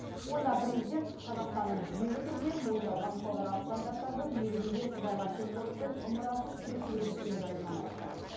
онда президент қазақстанның жүйелі түрде мойындалған халықаралық стандарттардың негізінде сыбайлас жемқорлықпен ымырасыз күрес жүргізіп келе жатқанын айтты